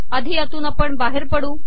आधी यातून बाहेर पडू